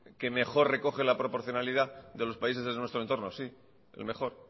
que mejor recoge la proporcionalidad de los países de nuestro en torno sí el mejor